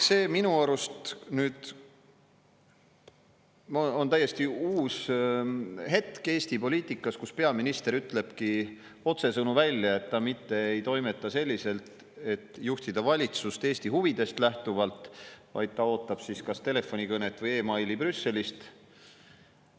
See on minu arust nüüd täiesti uus hetk Eesti poliitikas, kui peaminister ütlebki otsesõnu välja, et ta mitte ei toimeta nii, et juhtida valitsust Eesti huvidest lähtuvalt, vaid ta ootab kas telefonikõnet või meili Brüsselist.